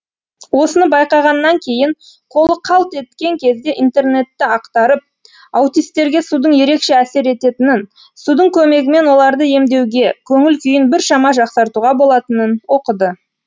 осыны байқағаннан кейін қолы қалт еткен кезде интернетті ақтарып аутистерге судың ерекше әсер ететінін судың көмегімен оларды емдеуге көңіл күйін біршама жақсартуға болатынын оқыды